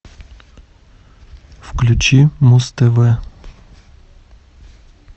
включи муз тв